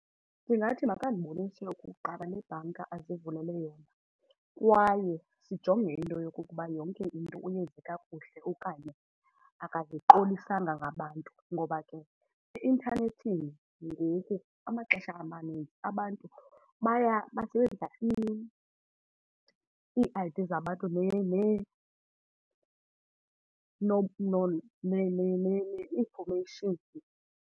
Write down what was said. Ndingathi makandibonise kuqala le bhanka azivulele yona kwaye sijonge into yokokuba yonke into uyenze kakuhle okanye akaziqolisanga ngabantu. Ngoba ke eintanethini ngoku amaxesha amaninzi abantu basebenzisa ii-I_D zabantu ne-information.